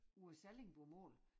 Vores sallingbomål